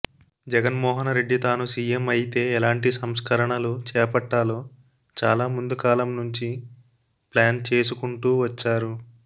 జగన్మోహన రెడ్డి తాను సీఎం అయితే ఎలాంటి సంస్కరణలు చేపట్టాలో చాలా ముందుకాలంనుంచి ప్లాన్ చేసుకుంటూ వచ్చారు